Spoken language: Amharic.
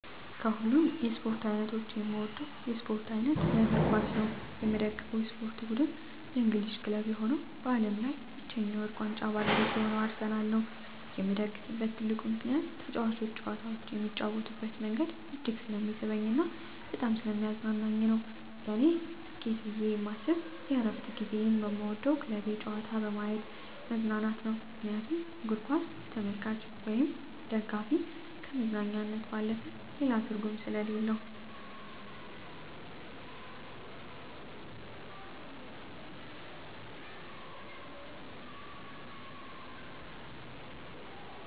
ከሀሉም የስፓርት አይነቶች የምወደው የስፖርት አይነት የእግርኳስ ነው። የምደግፈው የስፖርት ብድን የእንግሊዝ ክለብ የሆነው በአለም ላይ ብቻኛ የውርቅ ዋንጫ ባለቤት የሆነው አርሰናል ነው የምደግፍበት ትልቁ ምከንያት ተጫዋቾች ጨዋታውን የሚጫወቱበት መንገድ እጅግ ስለሚስበኝ እና በጣም ሰለሚያዝናናኝ ነው። ለኔ ስኬት ብየ የማስብ የእረፍት ጊዚየን በምወደው ክለቤ ጨዋታ በየማት መዝናናት ነው ምክንያቱም እግርኳስ ለተመልካች ወይም ደጋፊ ከመዝናኛነት ባለፈ ሌላ ትርጉም ሰሌለው።